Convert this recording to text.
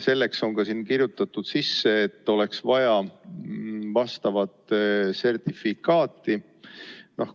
Selleks on eelnõusse sisse kirjutatud, et oleks vaja vastavat sertifikaati.